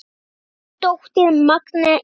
Þín dóttir, Magnea Inga.